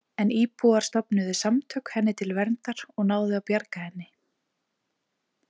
En íbúar stofnuðu samtök henni til verndar og náðu að bjarga henni.